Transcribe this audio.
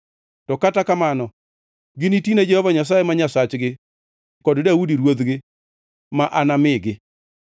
To kata kamano ginitine Jehova Nyasaye ma Nyasachgi kod Daudi ruodhgi, ma anamigi.